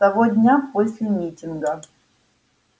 с того дня после митинга